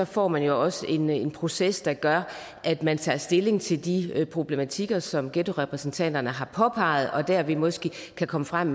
får man jo også en en proces der gør at man tager stilling til de problematikker som ghettorepræsentanterne har påpeget og derved måske kan komme frem